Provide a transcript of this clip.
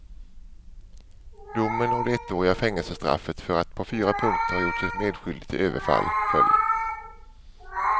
Domen och det ettåriga fängelsestraffet för att på fyra punkter ha gjort sig medskyldig till överfall föll.